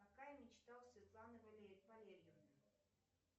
какая мечта у светланы валерьевны